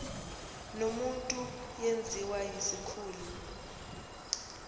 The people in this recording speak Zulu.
nomuntu yenziwa yisikhulu